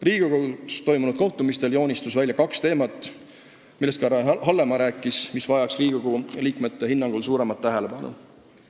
Riigikogus toimunud kohtumistel joonistus välja kaks teemat, millest ka härra Hallemaa rääkis ja mis Riigikogu liikmete hinnangul vajaks suuremat tähelepanu.